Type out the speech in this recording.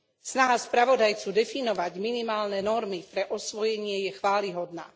Snaha spravodajcu definovať minimálne normy pre osvojenie je chvályhodná.